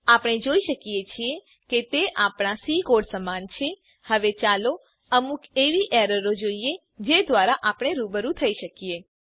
આપણે જોઈ શકીએ છીએ કે તે આપણા સી કોડ સમાન છે હવે ચાલો અમુક એવી એરરોને જોઈએ જે દ્વારા આપણે રૂબરૂ થઇ શકીએ